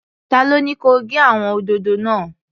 Ta ló ní kẹ gé àwọn òdòdó náà?